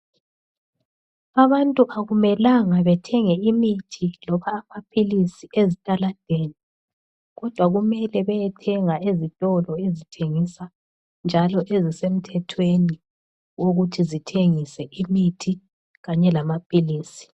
Abantu akumelanga bethenge imithi loba amaphilisi ezitaladeni kodwa kumele beyethenga ezitolo ezithengisa njalo ezisemthethweni ukuthi zithengise imithi kanye lamaphilisi.